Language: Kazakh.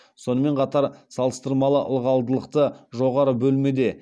сонымен қатар салыстырмалы ылғалдылығы жоғары бөлмеде